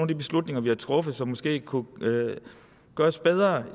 de beslutninger vi har truffet som måske kunne gøres bedre